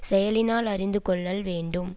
செயலினால் அறிந்து கொள்ளல் வேண்டும்